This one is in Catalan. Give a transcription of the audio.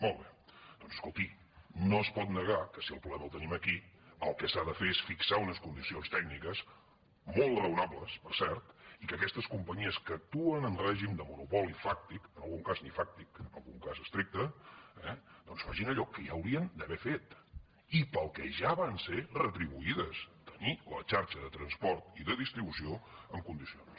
molt bé doncs escolti no es pot negar que si el problema el tenim aquí el que s’ha de fer és fixar unes condicions tècniques molt raonables per cert i que aquestes companyies que actuen en règim de monopoli fàctic en algun cas ni fàctic en algun cas estricte doncs facin allò que ja haurien d’haver fet i pel que ja van ser retribuïdes tenir la xarxa de transport i de distribució en condicions